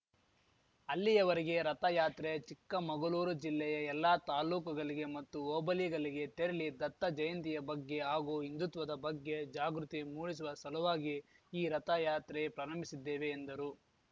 ಅಲ್ಲಿಯವರೆಗೆ ರಥಯಾತ್ರೆ ಚಿಕ್ಕಮಗಲೂರು ಜಿಲ್ಲೆಯ ಎಲ್ಲ ತಾಲೂಕುಗಲಿಗೆ ಮತ್ತು ಹೋಬಲಿಗಲಿಗೆ ತೆರಲಿ ದತ್ತಜಯಂತಿಯ ಬಗ್ಗೆ ಹಾಗೂ ಹಿಂದುತ್ವದ ಬಗ್ಗೆ ಜಾಗೃತಿ ಮೂಡಿಸುವ ಸಲುವಾಗಿ ಈ ರಥಯಾತ್ರೆ ಪ್ರಾರಂಭಿಸಿದ್ದೇವೆ ಎಂದರು